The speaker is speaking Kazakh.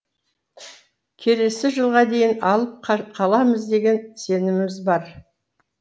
келесі жылға дейін алып қаламыз деген сеніміміз бар